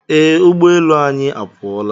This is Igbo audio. Ee ụgbọelu anyị apụọla